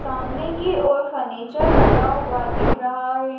सामने की ओर फर्नीचर लगा हुआ दिख रहा है।